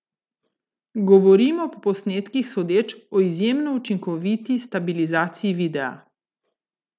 Govorimo, po posnetkih sodeč, o izjemno učinkoviti stabilizaciji videa.